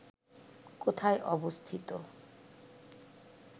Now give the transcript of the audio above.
কোথায় অবস্থিত